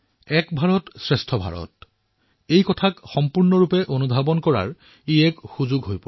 এক ভাৰতশ্ৰেষ্ঠ ভাৰতক প্ৰাণেৰে অনুভৱ কৰিবলৈ ইয়াৰ জৰিয়তে এক অৱকাশৰ সৃষ্টি হয়